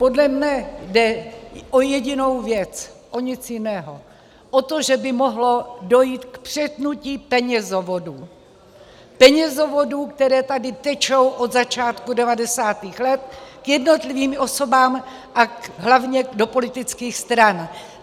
Podle mne jde o jedinou věc, o nic jiného - o to, že by mohlo dojít k přetnutí penězovodů, penězovodů, které tady tečou od začátku 90. let k jednotlivým osobám a hlavně do politických stran.